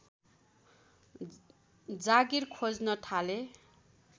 जागिर खोज्न थाले